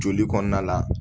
Joli kɔnɔna la